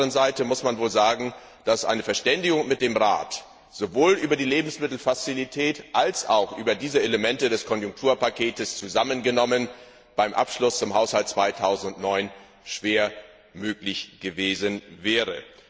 Auf der anderen Seite muss man sagen, dass eine Verständigung mit dem Rat sowohl über die Lebensmittelfazilität als auch über diese Elemente des Konjunkturpakets zusammengenommen beim Abschluss zum Haushalt 2009 schwer möglich gewesen wäre.